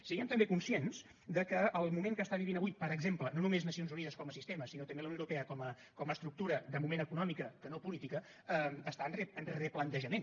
siguem també conscients que el moment que està vivint avui per exemple no només les nacions unides com a sistema sinó també la unió europea com a estructura de moment econòmica que no política està en replantejament